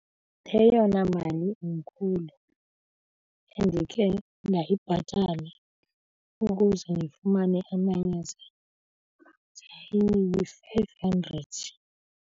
Eyona mali inkhulu endikhe ndayibhatala ukuze ndifumane amayeza zayiyi-five hundred.